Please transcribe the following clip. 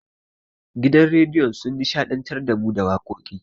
Gidan rediyon sun nishaɗantar da mu da wakoki.